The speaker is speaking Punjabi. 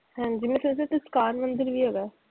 ਹਾਂਜੀ ਮੈਂ ਸੋਚਿਆ ਸੀ ਇਸਕਾਨ ਮੰਦਿਰ ਵੀ ਹੈਗਾ ਆ।